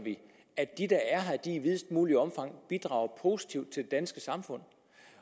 at de der er her i videst muligt omfang bidrager positivt til det danske samfund